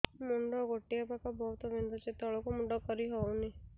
ମୁଣ୍ଡ ଗୋଟିଏ ପାଖ ବହୁତୁ ବିନ୍ଧୁଛି ତଳକୁ ମୁଣ୍ଡ କରି ହଉନି